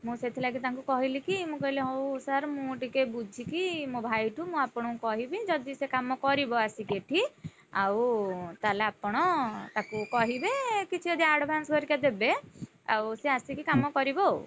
ମୁଁ ସେଇଥି ଲାଗି ତାଙ୍କୁ କହିଲି କି କହିଲି କି ମୁଁ କହିଲି କି ହଉ sir ମୁଁ ଟିକେ ବୁଝିକି ମୋ ଭାଇ ଠୁ ମୁଁ ଆପଣ ଙ୍କୁ କହିବି ଯଦି ସିଏ କାମ କରିବ ଆସିକି ଏଠି ଆଉ ତାହେଲେ ଆପଣ ତାକୁ କହିବେ କିଛି ଯଦି advance ହରିକା ଦେବେ ଆଉ ସିଏ ଆସିକିକାମ କରିବ ଆଉ।